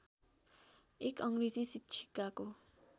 एक अङ्ग्रेजी शिक्षिकाको